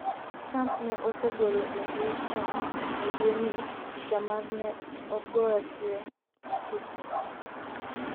Trump ne osegolo e mbui chon e dwe ni picha mar ne ogorye achich no